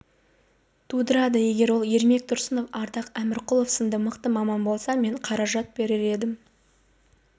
тудырады егер ол ермек тұрсынов ардақ әмірқұлов сынды мықты маман болса мен қаражат берер едім